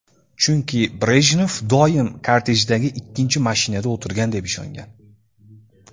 Chunki Brejnev doim kortejidagi ikkinchi mashinada o‘tirgan deb ishongan.